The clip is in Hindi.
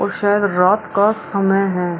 और शायद रात का समय है।